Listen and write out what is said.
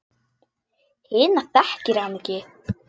Hina þekkir hann ekki.